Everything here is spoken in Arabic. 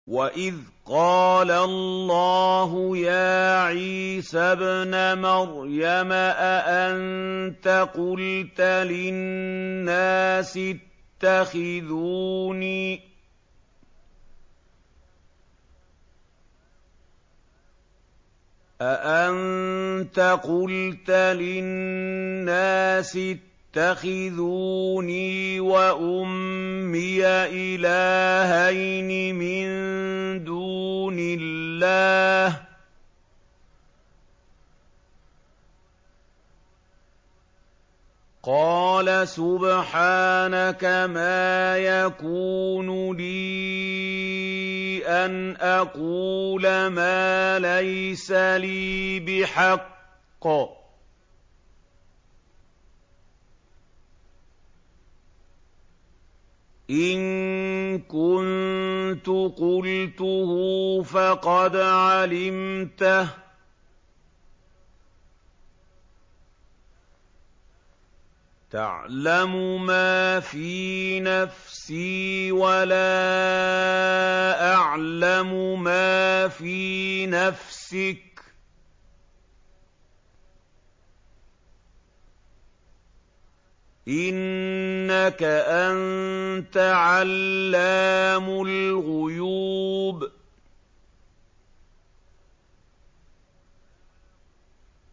وَإِذْ قَالَ اللَّهُ يَا عِيسَى ابْنَ مَرْيَمَ أَأَنتَ قُلْتَ لِلنَّاسِ اتَّخِذُونِي وَأُمِّيَ إِلَٰهَيْنِ مِن دُونِ اللَّهِ ۖ قَالَ سُبْحَانَكَ مَا يَكُونُ لِي أَنْ أَقُولَ مَا لَيْسَ لِي بِحَقٍّ ۚ إِن كُنتُ قُلْتُهُ فَقَدْ عَلِمْتَهُ ۚ تَعْلَمُ مَا فِي نَفْسِي وَلَا أَعْلَمُ مَا فِي نَفْسِكَ ۚ إِنَّكَ أَنتَ عَلَّامُ الْغُيُوبِ